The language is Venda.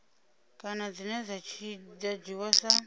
kana dzine dza dzhiiwa sa